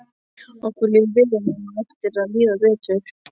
Okkur líður vel og á eftir að líða betur.